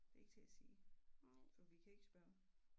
Det er ikke til at sige for vi kan ikke spørge